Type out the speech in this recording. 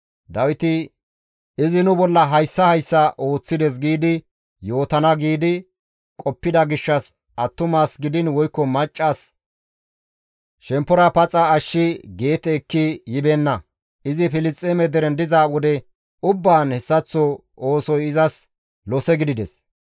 Dawiti, «Izi nu bolla hayssa hayssa ooththides giidi yootana» giidi qoppida gishshas attumas gidiin woykko macca shemppora paxa ashshi Geete ekki yibeenna. Izi Filisxeeme deren diza wode ubbaan hessaththo oosoy izas lose gidides.